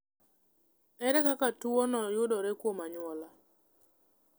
Ere kaka tuwono yudore kuom anyuola?